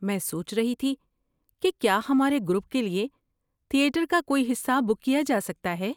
میں سوچ رہی تھی کہ کیا ہمارے گروپ کے لیے تھیٹر کا کوئی حصہ بک کیا جا سکتا ہے؟